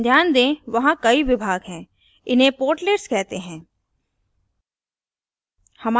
ध्यान दें वहाँ कई विभाग हैं इन्हें portlets कहते हैं